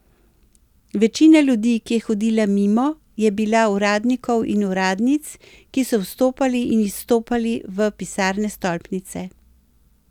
Večina ljudi, ki je hodila mimo, je bila uradnikov in uradnic, ki so vstopali in izstopali v pisarne stolpnice.